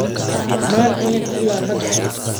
Maan cunin ilaa hadda